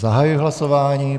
Zahajuji hlasování.